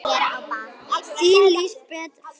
Þín Lísbet Fjóla.